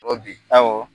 To bi awɔ